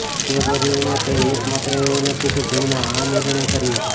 તે પરિવારમાં તે એક માત્ર એવો નથી કે જેમણે આ નિર્ણય કર્યો